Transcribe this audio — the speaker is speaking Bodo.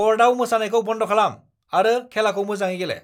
क'र्टआव मोसानायखौ बन्द खालाम आरो खेलाखौ मोजाङै गेले!